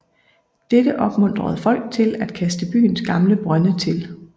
Dette opmuntrede folk til at kaste byens gamle brønde til